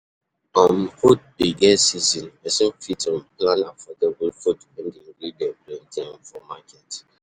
um Food dey get season, person fit um plan affordable food when di ingredient plenty um for market